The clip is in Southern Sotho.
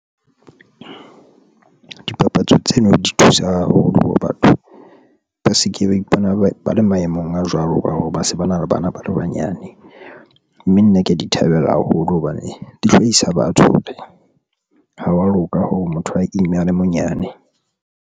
Dipapatso tseno di thusa haholo hore batho ba se ke ba ipona ba le maemong a jwalo ka hore ba se ba na le bana ba le banyane, mme nna ke ya di thabela haholo hobane di hlahisa batho ha wa loka ho motho wa imme a le monyane.